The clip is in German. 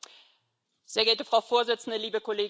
Frau Vorsitzende, liebe Kolleginnen und Kollegen!